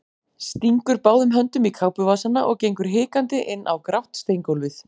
Stingur báðum höndum í kápuvasana og gengur hikandi inn á grátt steingólfið.